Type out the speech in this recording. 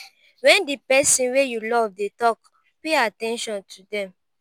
when di person wey you love dey talk pay at ten tion to them